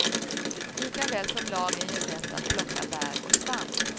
Likaväl som lagen ger rätt att plocka bär och svamp.